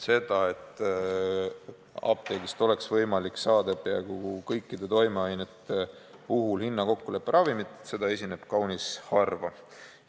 Seda, et apteegist oleks võimalik saada peaaegu kõikide toimeainete puhul hinnakokkuleppe ravimit, esineb kaunis harva.